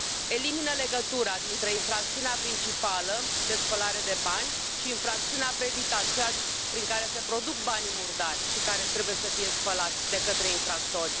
Elimină legătura dintre infracțiunea principală, de spălare de bani, și infracțiunea predicat, cea prin care se produc banii murdari care trebuie să fie spălați de către infractori.